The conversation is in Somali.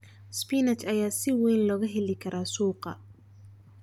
Spinach ayaa si weyn looga heli karaa suuqa.